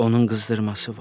Onun qızdırması var.